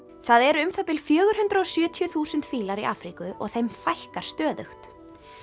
það eru um það bil fjögur hundruð og sjötíu þúsund fílar í Afríku og þeim fækkar stöðugt